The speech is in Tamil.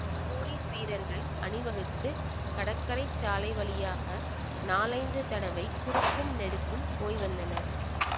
போலீஸ் வீரர்கள் அணிவகுத்துக் கடற்கரை சாலை வழியாக நாலைந்து தடவை குறுக்கும் நெடுக்கும் போய் வந்தனர்